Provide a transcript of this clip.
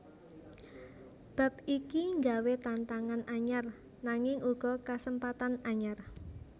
Bab iki nggawé tantangan anyar nanging uga kasempatan anyar